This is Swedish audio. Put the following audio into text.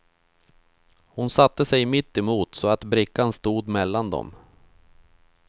Hon satte sig mittemot så att brickan stod mellan dem.